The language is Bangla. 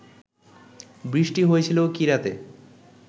বৃষ্টি হয়েছিল কি রাতে